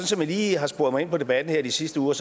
som jeg lige har sporet mig ind på debatten her de sidste uger